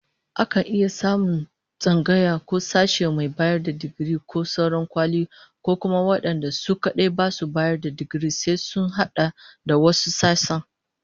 Akan iya samun tsangaya ko sashe mai bayar da digiri ko sauran kwali, ko kuma wadanda su kadai basu bayar da digiri sai sun hada da wasu sassan